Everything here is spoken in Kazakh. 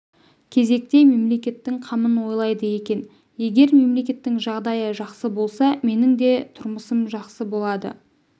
кезекте мемлекеттің қамын ойлайды екен егер мемлекеттің жағдайы жақсы болса менің де тұрмысым жақсы болады